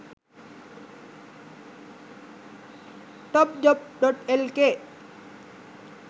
topjob.lk